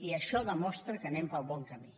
i això demostra que anem pel bon camí